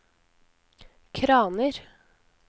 kraner